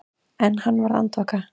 En hann varð andvaka.